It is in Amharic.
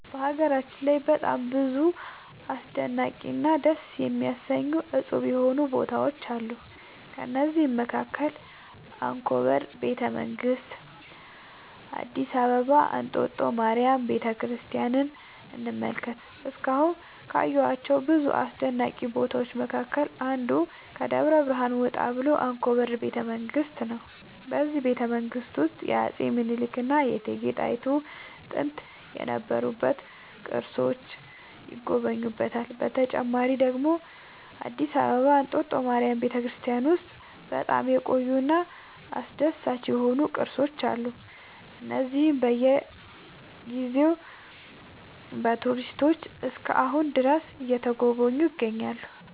በሀገራችን ላይ በጣም ብዙ አስደናቂ እና ደስ የሚያሰኙ እፁብ የሆኑ ቦታዎች አሉ ከእነዚህም መካከል አንኮበር ቤተ መንግስት አዲስ አበባ እንጦጦ ማርያም ቤተክርስቲያንን እንመልከት እስካሁን ካየኋቸው ብዙ አስደናቂ ቦታዎች መካከል አንዱ ከደብረ ብርሃን ወጣ ብሎ አንኮበር ቤተ መንግስት ነው በዚህ ቤተመንግስት ውስጥ የአፄ ሚኒልክ እና የእቴጌ ጣይቱ ጥንት የነበሩ ቅርሶች ይገኙበታል። በተጨማሪ ደግሞ አዲስ አበባ እንጦጦ ማርያም ቤተክርስቲያን ውስጥ በጣም የቆዩ እና አስደሳች የሆኑ ቅርሶች አሉ እነዚህም በየ ጊዜው በቱሪስቶች እስከ አሁን ድረስ እየተጎበኙ ይገኛሉ